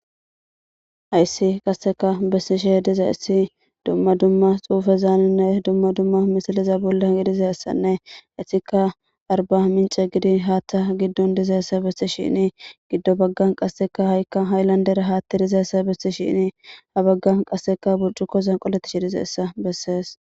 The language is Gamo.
Hayssi qasseka bessishshe dizayssi dumma dumma xuufezaaninne dumma dumma misiliza bolle gidiza essanne issika arba mince gidi haatta giddon dizayssa bessishshini giddo baggan qasseka ha'ikka hayllandera haatti dizayessa bessishshini ha baggan qasseka burcukoza qoletishshi dizayssa bessees